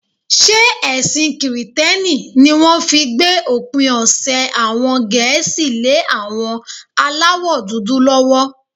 Ṣé ẹ̀sìn kìrìtẹ́ní ní wọ́n fi gbé òpin ọ̀sẹ̀ àwọn Gẹ̀ẹ́sì lé àwọn aláwọ̀dúdú lọ́wọ́?